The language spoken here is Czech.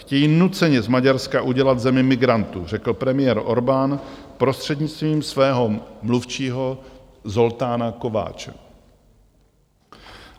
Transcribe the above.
Chtějí nuceně z Maďarska udělat zemi migrantů, řekl premiér Orbán prostřednictvím svého mluvčího Zoltána Kovácse.